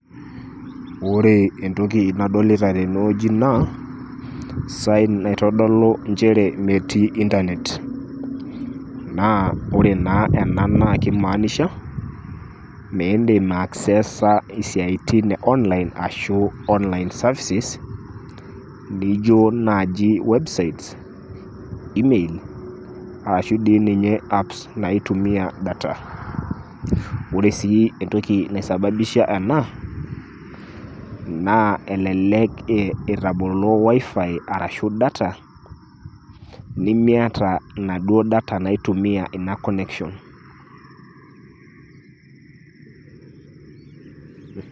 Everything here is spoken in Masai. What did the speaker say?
Ore entoki nadolita tene wueji naa sign naitodolu ajo metii internet naa ore naa ena naake imaanisha miindim ai access a siaitin e online, ashu online services nijo naaji webiste, emails ashu dii ninye apps naitumia data. Ore sii entoki naisababisha ena naa elelek itabolo wifi arashu data, nimiata naduo data naitumia ina connection.